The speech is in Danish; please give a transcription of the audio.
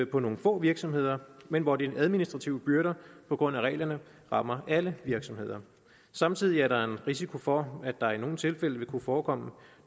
på nogle få virksomheder men hvor den administrative byrde på grund af reglerne rammer alle virksomheder samtidig er der en risiko for at der i nogle tilfælde vil kunne forekomme